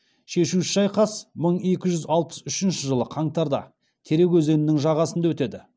шешуші шайқас мың екі жүз алпыс үшінші жылы қаңтарда терек өзенінің жағасында өтеді